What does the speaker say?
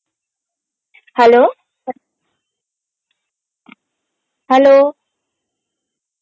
hello, hello